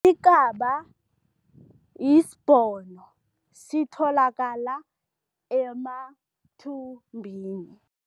Ikaba yisibhono, sitholakala emathumbini.